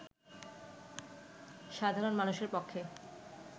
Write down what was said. সাধারণ মানুষের পক্ষে